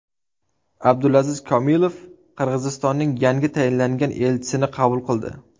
Abdulaziz Kamilov Qirg‘izistonning yangi tayinlangan elchisini qabul qildi.